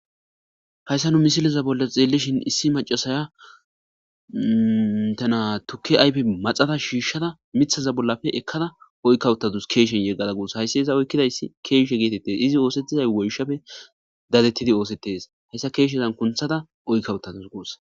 hayssa nu misileza bolla xeelishin issi macasaya tana tuki aype maxata shiishshada mithaza bollafe ekkada oykkawuttatus keeshen yeggada guusa hayssi iza oykkidayssi keeshe geetettes izi oosettizay woyshafe dadettidi oosettes hayssa keeshezan kunthada oykkawuttatus guussa